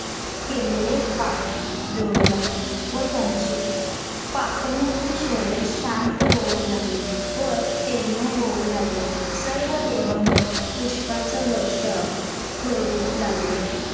अ का नाही भेटत पैसे आमचे client दोन-तीन वेळा येऊन गेले तुम्ही नाहीच बोलता नाहीच होणार नाही होणार सरळ बोलता आता ending ending हाय आता किती दहा तारीख येऊन गेली ना त्यांना गरज आहे म्हणूनच.